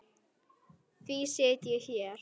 Því sit ég hér.